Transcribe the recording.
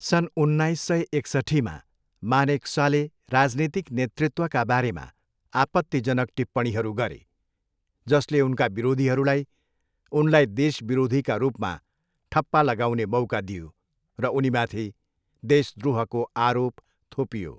सन् उन्नाइस सय एकसट्ठीमा, मानेकसाले राजनीतिक नेतृत्वका बारेमा आपत्तिजनक टिप्पणीहरू गरे, जसले उनका विरोधीहरूलाई उनलाई देशविरोधीका रूपमा ठप्पा लगाउने मौका दियो र उनीमाथि देशद्रोहको आरोप थोपियो।